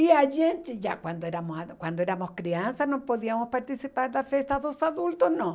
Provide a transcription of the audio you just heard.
E a gente, já quando éramos quando éramos crianças, não podíamos participar da festa dos adultos, não.